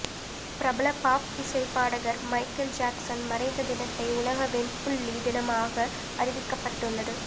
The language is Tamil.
பிரபல பாப் இசை பாடகர் மைக்கேல் ஜாக்சன் மறைந்த தினத்தை உலக வெண்புள்ளி தினமாக அறிவிக்கப்பட்டுள்ளது